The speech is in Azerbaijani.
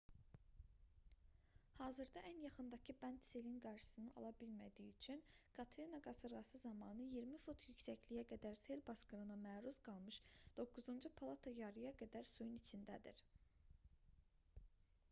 hazırda ən yaxındakı bənd selin qarşısını ala bilmədiyi üçün katrina qasırğası zamanı 20 fut yüksəkliyə qədər sel basqınına məruz qalmış doqquzuncu palata yarıya qədər suyun içindədir